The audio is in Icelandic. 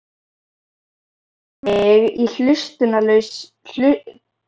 Hann horfir á mig í hlutlausri þrá.